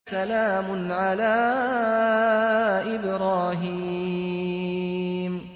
سَلَامٌ عَلَىٰ إِبْرَاهِيمَ